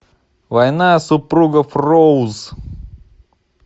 война супругов роуз